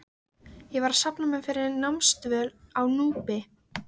Ég var að safna mér fyrir námsdvöl á Núpi.